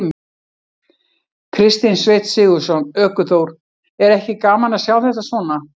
Kristinn Sveinn Sigurðsson, ökuþór: Er ekki gaman að sjá þetta svona?